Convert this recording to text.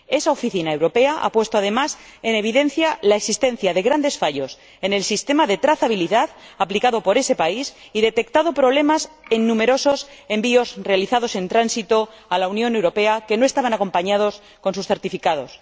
Esa Oficina europea ha puesto en evidencia, además, la existencia de grandes fallos en el sistema de trazabilidad aplicado por ese país y detectado problemas en numerosos envíos realizados en tránsito a la Unión Europea, que no estaban acompañados de sus certificados.